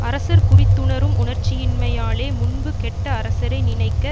அரசர் குறித்துணரும் உணர்ச்சியின்மையாலே முன்பு கெட்ட அரசரை நினைக்க